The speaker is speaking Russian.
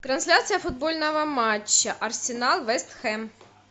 трансляция футбольного матча арсенал вест хэм